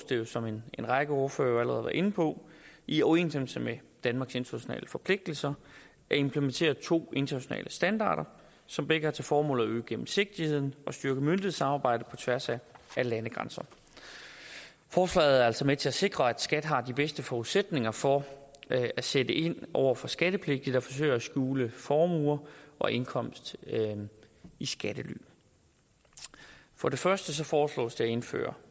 det jo som en række ordførere inde på i overensstemmelse med danmarks internationale forpligtelser at implementere to internationale standarder som begge har til formål at øge gennemsigtigheden og styrke myndighedssamarbejdet på tværs af landegrænser forslaget er altså med til at sikre at skat har de bedste forudsætninger for at sætte ind over for skattepligtige der forsøger at skjule formuer og indkomst i skattely for det første foreslås det at indføre